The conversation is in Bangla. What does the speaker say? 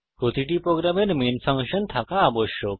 প্রতিটি প্রোগ্রামের একটি মেন ফাংশন থাকা আবশ্যক